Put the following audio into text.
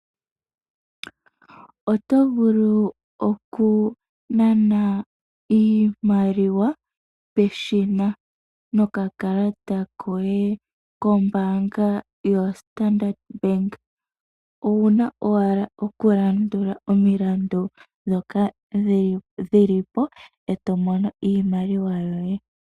Oto vulu okunana iimaliwa peshina nokakalata koye kombaanga yo Standard Bank. Owu na owala okulandula omilandu dhoka dhili po e to mono iimaliwa yoye.